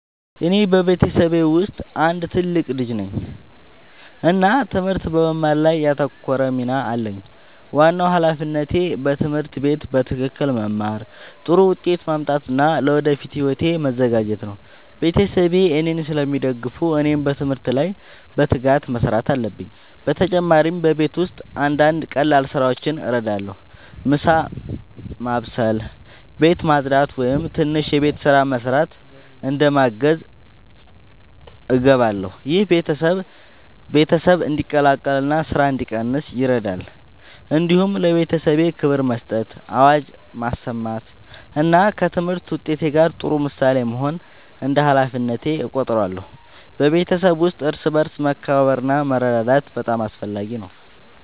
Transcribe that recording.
እኔ በቤተሰቤ ውስጥ አንድ ትልቅ ልጅ ነኝ እና ትምህርት በመማር ላይ ያተኮረ ሚና አለኝ። ዋናው ሃላፊነቴ በትምህርት ቤት በትክክል መማር፣ ጥሩ ውጤት ማምጣት እና ለወደፊት ሕይወቴ መዘጋጀት ነው። ቤተሰቤ እኔን ስለሚደግፉ እኔም በትምህርት ላይ በትጋት መስራት አለብኝ። በተጨማሪ በቤት ውስጥ አንዳንድ ቀላል ስራዎችን እረዳለሁ። ምሳ መስበስ፣ ቤት ማጽዳት ወይም ትንሽ የቤት ስራ መስራት እንደ ማገዝ እገባለሁ። ይህ ቤተሰብ እንዲቀላቀል እና ስራ እንዲቀንስ ይረዳል። እንዲሁም ለቤተሰቤ ክብር መስጠት፣ አዋጅ መስማት እና ከትምህርት ውጤት ጋር ጥሩ ምሳሌ መሆን እንደ ሃላፊነቴ እቆጥራለሁ። በቤተሰብ ውስጥ እርስ በርስ መከባበር እና መረዳዳት በጣም አስፈላጊ ነው።